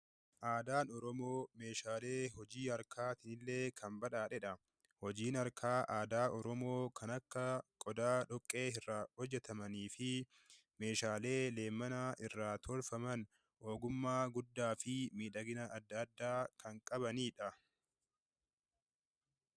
Aadaan Oromoo meeshaalee hojii harkaatiin illee kan badhaadheedha. Hojiin harkaa aadaa Oromoo kan akka meeshaa dhoqqee irraa hojjetamaniifi meeshaalee leemmana irraa tolfaman, ogummaa guddaa fi miidhagina adda addaa kan qabaniidha.